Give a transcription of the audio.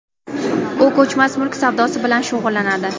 U ko‘chmas mulk savdosi bilan shug‘ullanadi.